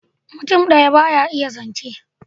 Mutum daya ba ya iya zance